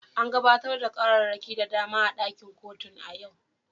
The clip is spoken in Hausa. An gabatar da ƙararraki da dama a ɗakin kotun a yau.